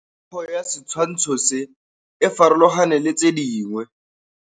Popêgo ya setshwantshô se, e farologane le tse dingwe.